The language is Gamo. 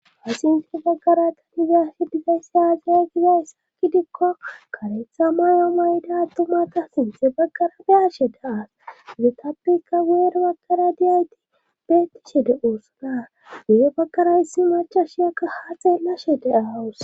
Asinfe baggara tanigiyashe digayssa aaziya gizayssa kidikko karetha mayo mayda adtumata sinthe baggara biyashe daaas zetappika geer baggara diyayti beettishe de oosana gee bagara yssi maca shiyakka ha xeellashe daaawus